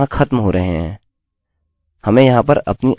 हमें यहाँ पर अपनी id प्रविष्ट करने की आवश्यकता नहीं है